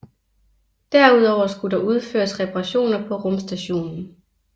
Derudover skulle der udføres reparationer på rumstationen